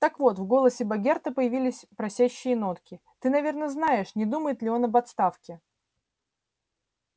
так вот в голосе богерта появились просящие нотки ты наверное знаешь не думает ли он об отставке